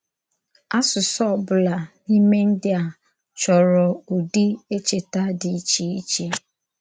Àsụsụ ọ̀bụ́la n’ímè ndí a chòrọ̀ ùdí èchètà dị iche iche.